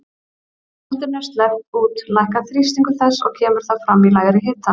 Þegar loftinu er sleppt út lækkar þrýstingur þess og kemur það fram í lægri hita.